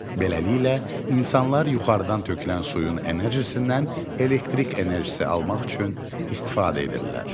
Beləliklə, insanlar yuxarıdan tökülən suyun enerjisindən elektrik enerjisi almaq üçün istifadə edirlər.